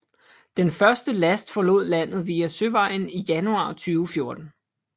Den første last forlod landet via søvejen i januar 2014